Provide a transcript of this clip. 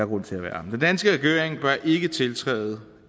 grund til at være den danske regering bør ikke tiltræde